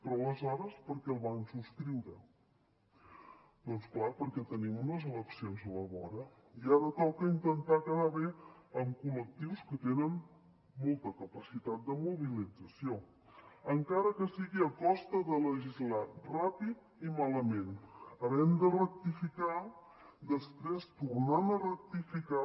però aleshores per què el van subscriure doncs clar perquè tenim unes eleccions a la vora i ara toca intentar quedar bé amb col·lectius que tenen molta capacitat de mobilització encara que sigui a costa de legislar ràpid i malament havent de rectificar després tornant a rectificar